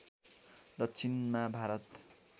दक्षिणमा भारत